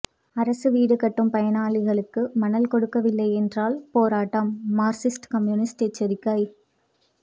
அரசு வீடு கட்டும் பயனாளிகளுக்கு மணல் கொடுக்கவில்லை என்றால் போராட்டம் மார்க்சிஸ்ட் கம்யூனிஸ்ட் எச்சரிக்கை